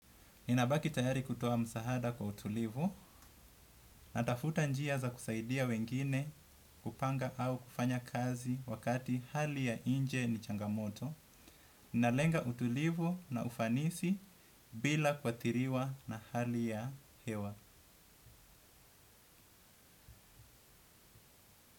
Ninabaki tayari kutoa msaada kwa utulivu natafuta njia za kusaidia wengine kupanga au kufanya kazi wakati hali ya nje ni changamoto. Nalenga utulivu na ufanisi bila kuathiriwa na hali ya hewa.